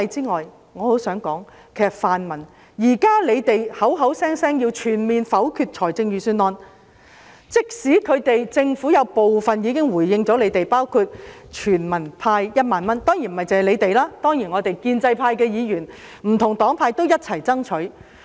我很想對泛民議員說，你們現時口口聲聲要全面否決預算案，但政府已經作出部分回應，包括全民派發1萬元，當然這也是建制派議員、不同政黨一起爭取的。